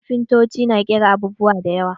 Kafintotoci na ƙera abubuwa da yawa.